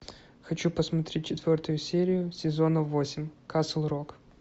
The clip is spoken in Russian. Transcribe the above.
хочу посмотреть четвертую серию сезона восемь касл рок